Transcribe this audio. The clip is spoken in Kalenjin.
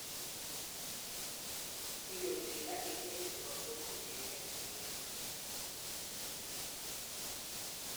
Indoi Tinder eng emeet komugul kechengee chamaniik